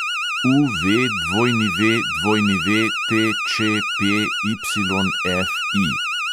UVWWTČPYFI